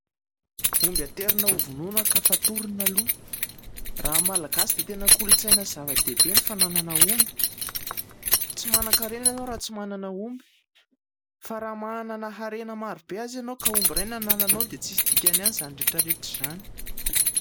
Omby aterina ho vonoina ka fatorana aloha. Raha amin'ny Malagasy dia tena kolontsaina sy zava-dehibe ny fananana omby ; tsy manan-karena ianao raha tsy manana omby. Fa raha manana harena maro be azy ianao ka omby ray no anananao dia tsy misy dikany ihany izany rehetra rehetra izany.